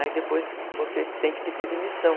Aí depois você tem que pedir demissão.